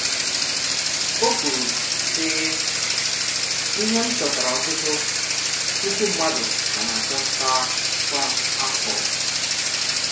Ọ̀ kwùrù, sị̀: “Íhè m chọ̀tàrà ọ́tùtù̀ pùkù mmádù̀ ka na-àchọ̀tà kwa afọ̀.”